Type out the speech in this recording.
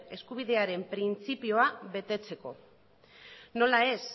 eskubidearen printzipioa betetzeko nola ez